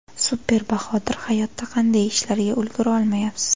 Super Bahodir Hayotda qanday ishlarga ulgura olmayapsiz?